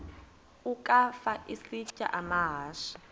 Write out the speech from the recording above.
ukafa isitya amahashe